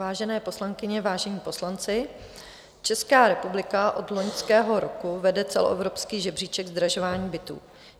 Vážené poslankyně, vážení poslanci, Česká republika od loňského roku vede celoevropský žebříček zdražování bytů.